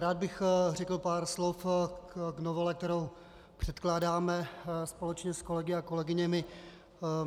Rád bych řekl pár slov k novele, kterou předkládáme společně s kolegy a kolegyněmi.